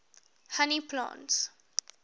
honey plants